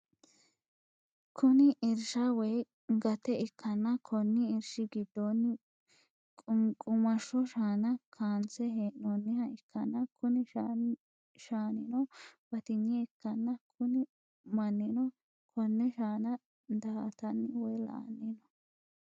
Kuni irshsha woyi gate ikkanna Konni irshshi gidono qunqqumashsho shaana kaanse heenooniha ikkanna kuni shasnino batinye ikkanna Kuni mannino konne shaana daa'atanni woyi la'anni no